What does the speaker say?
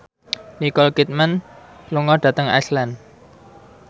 Nicole Kidman lunga dhateng Iceland